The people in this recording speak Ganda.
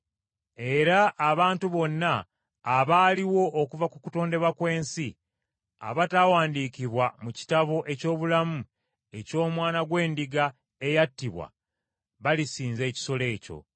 Era abantu bonna abaaliwo okuva ku kutondebwa kw’ensi, abatawandiikiddwa mu kitabo eky’Obulamu eky’Omwana gw’Endiga eyattibwa balisinza ekisolo ekyo.